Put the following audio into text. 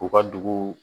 U ka dugu